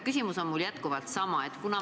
Küsimus on sama.